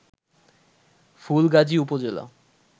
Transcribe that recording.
ফুলগাজী উপজেলা